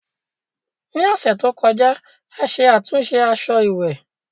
Ní ọ̀sẹ̀ tó kọjá, a ṣe àtúnṣe aṣọ ìwẹ̀